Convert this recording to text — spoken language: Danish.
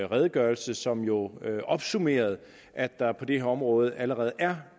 redegørelse som jo opsummerede at der på det her område allerede er